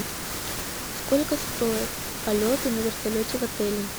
сколько стоят полеты на вертолете в отеле